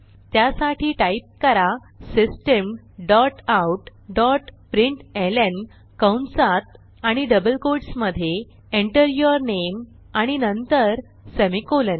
त्यासाठी टाईप करा system dot out dot println कंसात आणि डबल कोट्स मधे Enter यूर नामे आणि नंतर सेमिकोलॉन